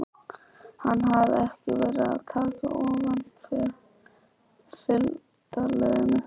Hann hafði ekki verið að taka ofan fyrir fylgdarliðinu.